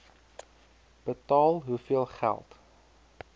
betaal hoeveel geld